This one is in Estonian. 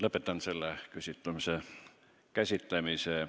Lõpetan selle küsimuse käsitlemise.